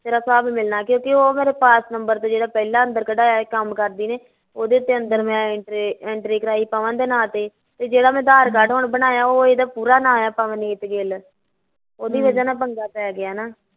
ਤੇਰਾ ਹਿਸਾਬ ਮਿਲਣਾ ਕਿਉਕਿ ਉਹ ਮੇਰਾ ਪਾਸ ਨਬਰ ਤੇ ਜਿਹੜਾ ਅੰਦਰ ਕਢਾਇਆ ਸੀ ਕੰਮ ਕਰਦੀ ਨੇ ਉਹਦੇ ਤੇ ਤਿੰਨ ਦਿਨ entry ਕਰਾਈ ਪਵਨ ਦੇ ਨਾ ਤੇ ਤੇ ਜਿਹੜਾ ਮੈਂ ਅਧਾਰ ਕਾਰਡ ਹੁਣ ਬਣਾਇਆ ਆ ਉਹਦੇ ਤੇ ਇਹਦਾ ਨਾ ਪੂਰਾ ਐ ਪਵਨਦੀਪ ਗਿੱਲ ਹਮ ਉਹਦੀ ਵਜਾ ਨਾਲ਼ ਪੰਗਾ ਪੈ ਗਿਆ ਨਾ